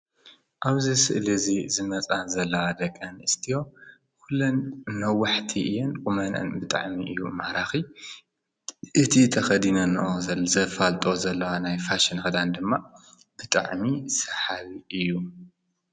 ኣብዚ ስእሊ እዙይ ዝመፃ ዘለዋ ደቂ ኣንስትዮ ኩለን ነዋሕቲ እየን ቁመነአን ብጣዕሚ እዩ ማራኺ። እቲ ተኸዲነንኦ ዘሎ ዘፋልጥኦ ዘለዋ ፋሽን ክዳን ድማ ብጣዕሚ ሰሓቢ እዩ ።